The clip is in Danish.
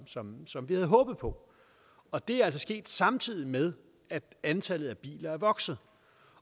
som som vi havde håbet på og det er altså sket samtidig med at antallet af biler er vokset